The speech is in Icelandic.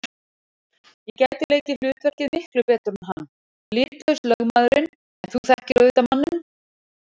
Ég gæti leikið hlutverkið miklu betur en hann- litlaus lögmaðurinn, en þú þekkir auðvitað manninn.